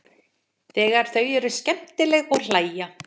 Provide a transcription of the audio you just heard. Þegar þau eru skemmtileg og hlæja.